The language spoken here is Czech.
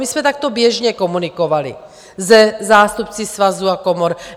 My jsme takto běžně komunikovali se zástupci svazů a komor.